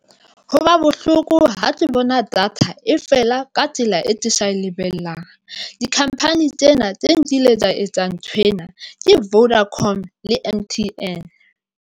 Ho ba bohloko ha ke bona data e fela ka tsela e kesa e lebellang di-company tsena tse nkile tsa etsang tshwenya ke Vodacom, le M_T_N.